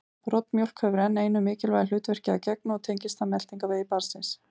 Broddmjólk hefur enn einu mikilvægu hlutverki að gegna og tengist það meltingarvegi barnsins.